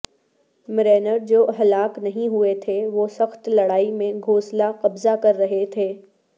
Marines جو ہلاک نہیں ہوئے تھے وہ سخت لڑائی میں گھوںسلا قبضہ کر رہے تھے